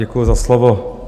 Děkuji za slovo.